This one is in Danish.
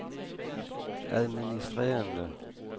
administrerende